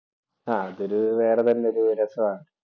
ആഹ് അതൊരു വേറെ തന്നെ ഒരു രസമാ.